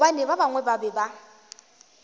gobane ba bangwe ba be